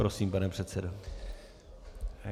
Prosím, pane předsedo.